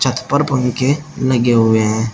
छत पर पंखे लगे हुए है।